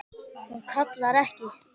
Hún kallar ekki